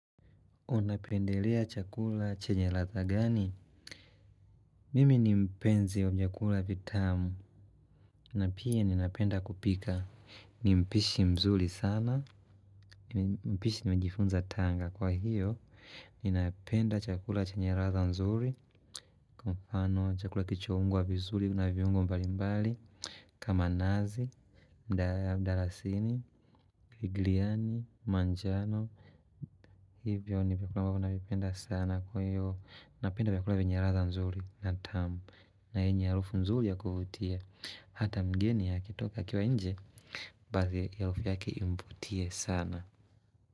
Unapendelea chakula chenye latha gani? Mimi ni mpenzi wa vyakula vitamu na pia ninapenda kupika. Ni mpishi mzuri sana ni mpishi nimejifunza tanga Kwa hiyo, ninapenda chakula chenye latha nzuri Kwa mfano, chakula kichoungwa vizuri na viungo mbalimbali kama nazi, mdalasini, viani, manjano Hivyo ni vitu ambavyo navipenda sana kwa hiyo napenda vyakula venye ladha nzuri na tamu na yenye harufu nzuri ya kuvutia Hata mgeni akitoka akiwa nje Basi hiyo harufu yake imvutie sana.